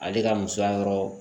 Ale ka musoya yɔrɔ